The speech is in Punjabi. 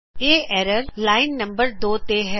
ਇਹ ਐਰਰ ਲਾਈਨ ਨੰਬਰ 2 ਤੇ ਹੈ